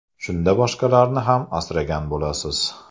Shunda boshqalarni ham asragan bo‘lasiz.